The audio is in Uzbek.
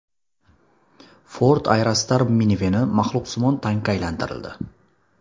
Ford Aerostar miniveni maxluqsimon tankka aylantirildi .